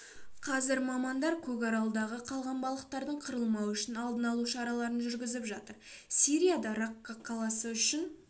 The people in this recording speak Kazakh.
қазір мамандар көкаралдағы қалған балықтардың қырылмауы үшін алдын алу шараларын жүргізіп жатыр сирияда ракка қаласы үшін